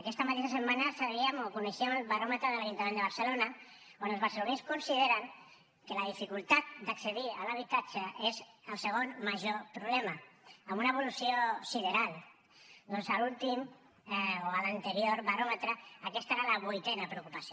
aquesta mateixa setmana sabíem o coneixíem el baròmetre de l’ajuntament de barcelona on els barcelonins consideren que la dificultat d’accedir a l’habitatge és el segon major problema amb una evolució sideral ja que a l’últim o a l’anterior baròmetre aquesta era la vuitena preocupació